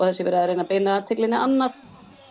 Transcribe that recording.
það sé verið að reyna að beina athyglinni annað